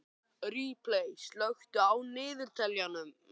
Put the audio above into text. Ripley, slökktu á niðurteljaranum.